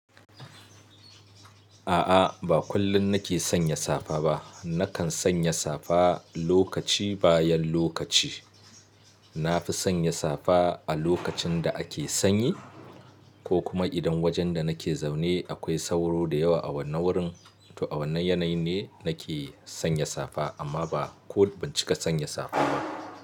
A'a, ba kullum nake sanya safa ba. Nakan sanya safa lokaci bayan lokaci. Na fi sanya safa a lokacin da ake sanyi ko kuma idan wajen da nake zaune akwai sauro da yawa a wannan wurin. To a wannan yanayi ne nake sanya safa, amma ba ko ban cika sanya safa ba.